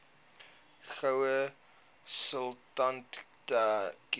goue sultana keur